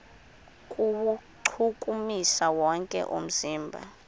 kuwuchukumisa wonke umzimba